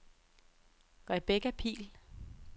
Rebecca Pihl